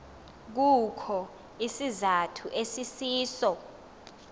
kukho isizathu esisiso